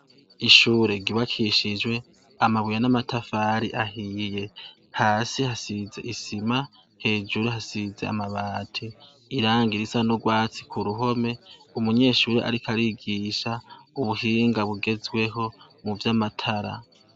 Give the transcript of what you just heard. Ishure ryubakishijwe amabuye n'amatafari ahiye. Hasi hasize isima. Hejuru hasize amabati, irangi risa n'ugwatsi ku ruhome. Umunyeshure ariko arigisha ubuhinga bugezweho muvy'amatara.